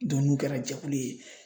n'u kɛra jɛkulu ye